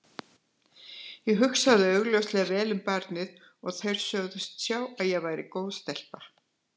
Ég hugsaði augljóslega vel um barnið og þeir sögðust sjá að ég væri góð stelpa.